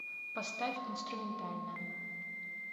поставь инструментальная